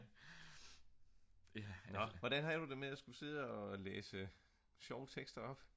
nå hvordan havde du det med at skulle sidde og læse sjove tekster op?